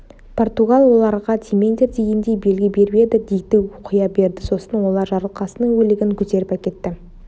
португал оларға тимеңдер дегендей белгі беріп еді дикті қоя берді сосын олар жарылқасынның өлігін көтеріп әкетті